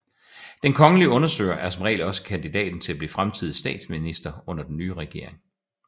Den kongelige undersøger er som regel også kandidaten til at blive fremtidig statsminister under den nye regering